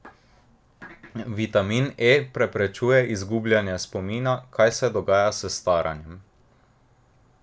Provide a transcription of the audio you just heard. Vitamin E preprečuje izgubljanje spomina, kar se dogaja s staranjem.